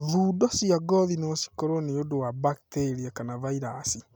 Thundo cia ngothi no cikorwo nĩ ũndũ wa bakiteria kana vairaci.